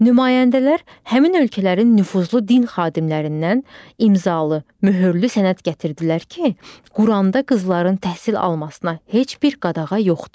Nümayəndələr həmin ölkələrin nüfuzlu din xadimlərindən imzalı möhürlü sənəd gətirdilər ki, Quranda qızların təhsil almasına heç bir qadağa yoxdur.